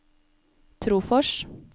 Trofors